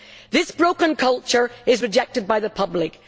This broken culture is rejected by the public.